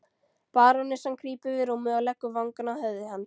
Barónessan krýpur við rúmið og leggur vangann að höfði hans.